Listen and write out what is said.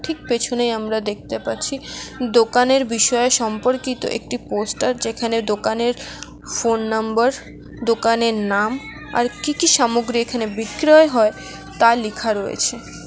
পেছনে আমরা দেখতে পাচ্ছি দোকানের বিষয়ে সম্পর্কিত একটি পোস্টার যেখানে দোকানের ফোন নাম্বার দোকানের নাম আর কি কি সামগ্রী এখানে বিক্রয় হয় তা লিখা রয়েছে।